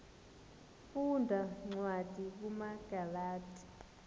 funda cwadi kumagalati